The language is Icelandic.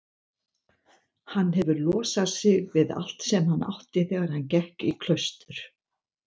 Hann hefur losað sig við allt sem hann átti þegar hann gekk í klaustur.